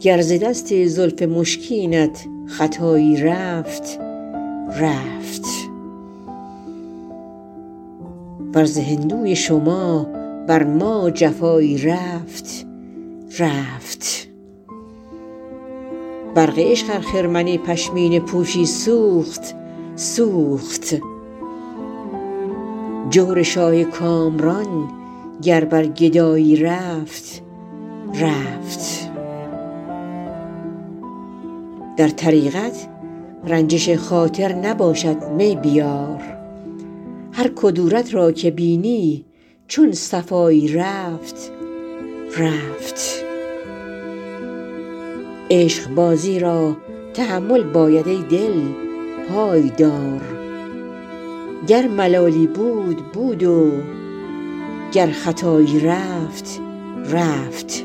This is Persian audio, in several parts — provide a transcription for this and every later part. گر ز دست زلف مشکینت خطایی رفت رفت ور ز هندوی شما بر ما جفایی رفت رفت برق عشق ار خرمن پشمینه پوشی سوخت سوخت جور شاه کامران گر بر گدایی رفت رفت در طریقت رنجش خاطر نباشد می بیار هر کدورت را که بینی چون صفایی رفت رفت عشقبازی را تحمل باید ای دل پای دار گر ملالی بود بود و گر خطایی رفت رفت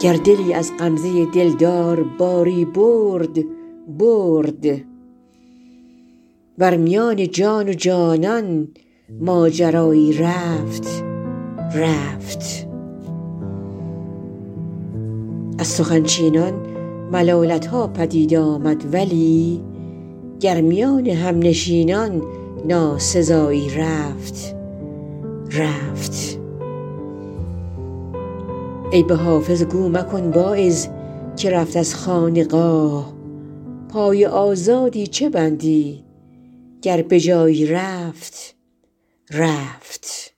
گر دلی از غمزه دلدار باری برد برد ور میان جان و جانان ماجرایی رفت رفت از سخن چینان ملالت ها پدید آمد ولی گر میان همنشینان ناسزایی رفت رفت عیب حافظ گو مکن واعظ که رفت از خانقاه پای آزادی چه بندی گر به جایی رفت رفت